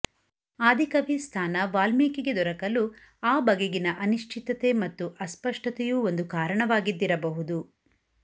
ಆದಿಕವಿ ಸ್ಥಾನ ವಾಲ್ಮೀಕಿಗೆ ದೊರಕಲು ಆ ಬಗೆಗಿನ ಅನಿಶ್ಚಿತತೆ ಮತ್ತು ಅಸ್ಪಷ್ಟತೆಯೂ ಒಂದು ಕಾರಣವಾಗಿದ್ದಿರಬಹುದು